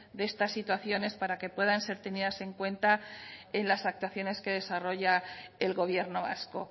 de estas situaciones para que puedan ser tenidas en cuenta en las actuaciones que desarrolla el gobierno vasco